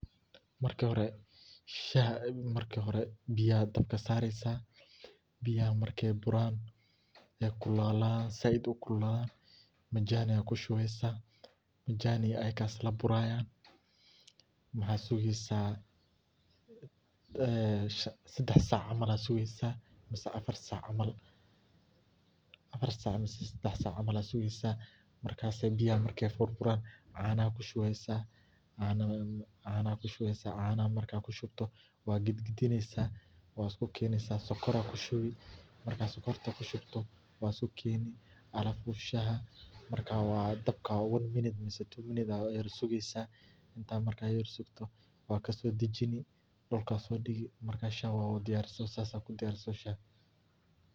Marki hore biyaha ayad dabka sareysa, biyaha market buran kululadan sayid ukululadan majani ayad kushubeysa majaniga iyo asaga aya isla burayan waxa sugeysa sedax sac camal amah afar sac camal ayad sugeysa markas ayay biyaha markay burburan canaha ayaad kushubeysa , canaha matkad kushubto wad gagadineysa , wad keneysa sokor ayad kushubeysa markad sokorta kushubto wadsodajini marka alafu one minute amah two minutes ayad sugeysa inta marka aad yar sugto wadkaso dajini wad sodigi marka shahaa wa diyarise sidhaa ayad kudiyarise.